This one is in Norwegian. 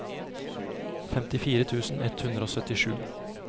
femtifire tusen ett hundre og syttisju